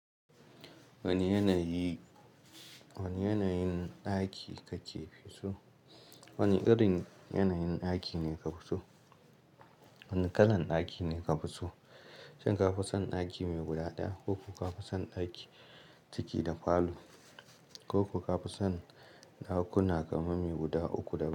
Wani yanayi, wani yanayin ɗaki kake so? Wane irin yanayin ɗaki ne ka fi so? Wani kalan ɗaki ne ka fi so? Shin ka fi son ɗaki mai guda ɗaya ko ko ka fi son ɗaki ciki da falo ko ko ka fi son ɗakuna kamar mai guda uku da.